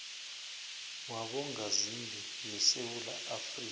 wabongazimbi yesewula afrika